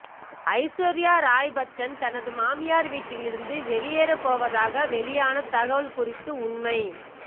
ஐஸ்வர்யா ராய் பச்சன் தனது மாமியார் வீட்டில் இருந்து வெளியேறப் போவதாக வெளியான தகவல் குறித்து உண்மை